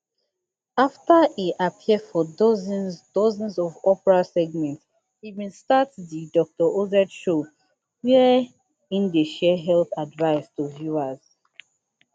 afta e appear for dozens dozens of oprah segments e bin start di dr oz show wia e dey share health advice to viewers